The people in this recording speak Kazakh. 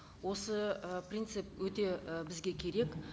осы ы принцип өте і бізге керек